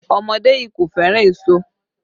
Ọmọdé yii kò fẹ́ràn èso